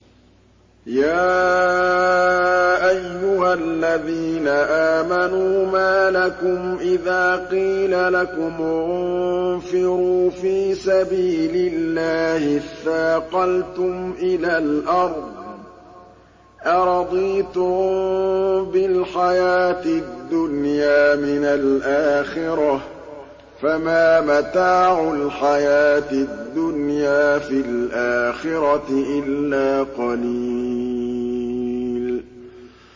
يَا أَيُّهَا الَّذِينَ آمَنُوا مَا لَكُمْ إِذَا قِيلَ لَكُمُ انفِرُوا فِي سَبِيلِ اللَّهِ اثَّاقَلْتُمْ إِلَى الْأَرْضِ ۚ أَرَضِيتُم بِالْحَيَاةِ الدُّنْيَا مِنَ الْآخِرَةِ ۚ فَمَا مَتَاعُ الْحَيَاةِ الدُّنْيَا فِي الْآخِرَةِ إِلَّا قَلِيلٌ